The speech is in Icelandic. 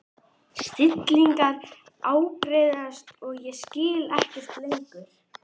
Stingirnir að ágerast og ég skil ekkert lengur.